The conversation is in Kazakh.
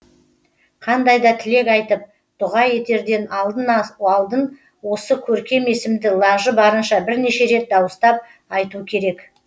қандай да тілек айтып дұға етерден алдын осы көркем есімді лажы барынша бірнеше рет дауыстап айту керек